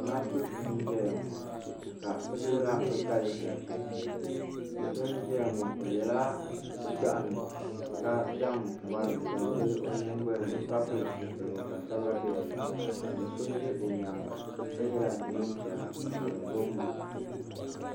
Zamaatu n ʒɛya ŋɔ ka bɛ dirila bɛ kali nachiinsi do so n ʒɛya ŋɔ o yɛla gbagino ka zaŋ mɔri zaŋ vili o nyingɔli ni ka pili zupilgu ka Saba be di ni ka do so ʒɛ o nyaanga ka yela neen piɛla ka di bom bo